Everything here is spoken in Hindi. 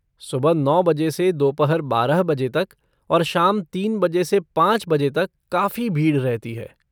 सुबह नौ बजे से दोपहर बारह बजे तक और शाम तीन बजे से पाँच बजे तक काफी भीड़ रहती है।